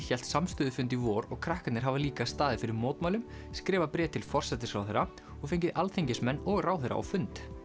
hélt samstöðufund í vor og krakkarnir hafa líka staðið fyrir mótmælum skrifað bréf til forsætisráðherra og fengið alþingismenn og ráðherra á fund